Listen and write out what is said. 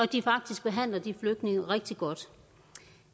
de faktisk behandler de flygtninge rigtig godt